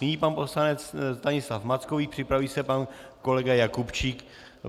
Nyní pan poslanec Stanislav Mackovík, připraví se pan kolega Jakubčík.